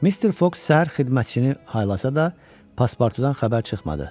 Mister Foq səhər xidmətçini haylasa da, paspartudan xəbər çıxmadı.